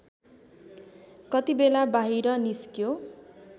कतिबेला बाहिर निस्क्यो